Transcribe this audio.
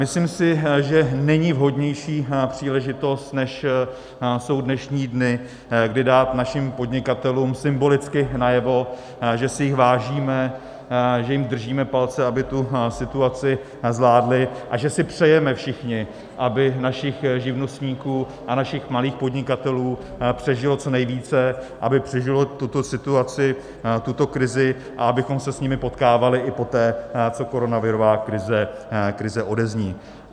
Myslím si, že není vhodnější příležitost, než jsou dnešní dny, kdy dát našim podnikatelům symbolicky najevo, že si jich vážíme, že jim držíme palce, aby tu situaci zvládli, a že si přejeme všichni, aby našich živnostníků a našich malých podnikatelů přežilo co nejvíce, aby přežili tuto situaci, tuto krizi a abychom se s nimi potkávali i poté, co koronavirová krize odezní.